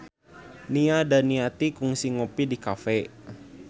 Nia Daniati kungsi ngopi di cafe